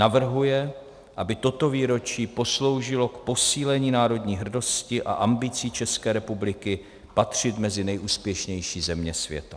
- Navrhuje, aby toto výročí posloužilo k posílení národní hrdosti a ambicí České republiky patřit mezi nejúspěšnější země světa."